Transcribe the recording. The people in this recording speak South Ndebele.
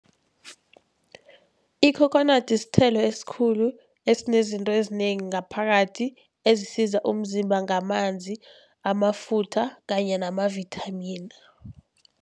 Ikhokhonadi sithelo esikhulu esinezinto ezinengi ngaphakathi, ezisiza umzimba ngamanzi, amafutha kanye nama-vitamin.